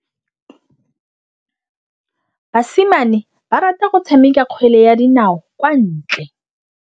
Basimane ba rata go tshameka kgwele ya dinaô kwa ntle.